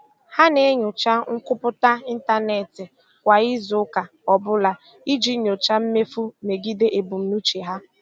Ha na-enyocha nkwupụta ịntanetị kwa izu ụka ọ bụla iji nyochaa mmefu megide ebumnuche ha.